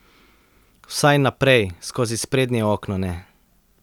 Vsaj naprej, skozi sprednje okno ne.